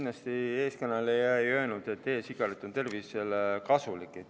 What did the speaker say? Teie ees kõneleja kindlasti ei öelnud, et e-sigaret on tervisele kasulik.